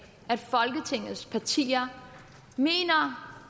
at folketingets partier mener